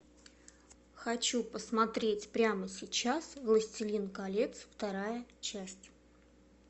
хочу посмотреть прямо сейчас властелин колец вторая часть